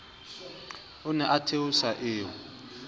o ne o theosa eo